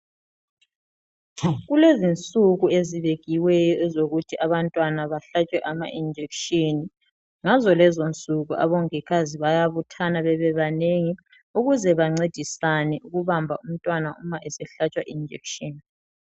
Kulezinsuku ezibekiweyo ukuthi abantwana bahlatshwe ama injection. Ngazo lezonsuku omongikazi bayabuthana babebanengi ukuze bancedisane ukubamba umntwana uma sehlatshwa injection.